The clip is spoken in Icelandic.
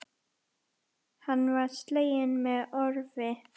Hann var sleginn með orfi.